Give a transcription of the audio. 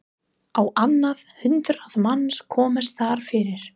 Á annað hundrað manns komust þar fyrir.